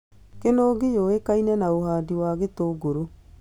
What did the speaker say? Kĩnũngi yũĩkine na ũhandi wa gĩtũngũrũ